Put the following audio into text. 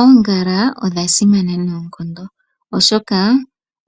Oongala odhaa simana noonkondo oshoka